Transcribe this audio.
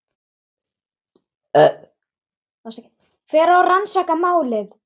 Hver á að rannsaka málið?